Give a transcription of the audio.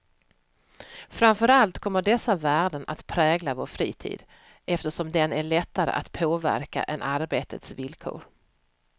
Framför allt kommer dessa värden att prägla vår fritid, eftersom den är lättare att påverka än arbetets villkor.